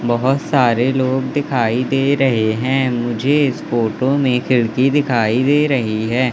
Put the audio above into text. बहोत सारे लोग दिखाई दे रहे हैं मुझे इस फोटो में खिड़की दिखाई दे रही है।